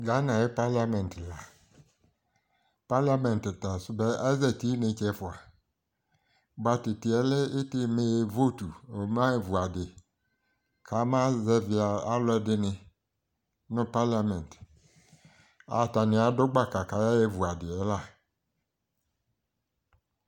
Ghana ayi parliament la parliament ta so bɛ azati inetse ɛfoa boa to itiɛ lɛ ite me votu ɔma ɣa evu adi ko ama zɛvi alo ɛdini no parliament atani ado gbaka ko aye vu adiɛ la